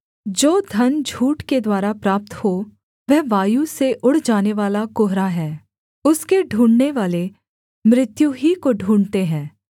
जो धन झूठ के द्वारा प्राप्त हो वह वायु से उड़ जानेवाला कुहरा है उसके ढूँढ़नेवाले मृत्यु ही को ढूँढ़ते हैं